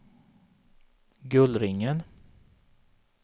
Gullringen